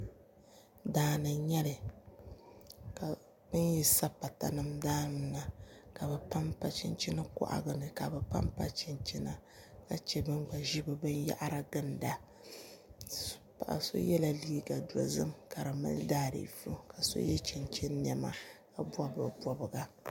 daani n-nyɛli ka bɛ ni yi sa patanima daani la ka bɛ panpa chinchin kɔhigu ni ka bɛ panpa chinchina ka che ban gba ʒi bɛ binyɛhiri ginda paɣ'so yela liiga dozim ka di mali daaziifu ka so ye chinchina nɛma ka bɔbi di bɔbiga